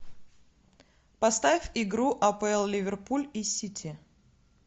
поставь игру апл ливерпуль и сити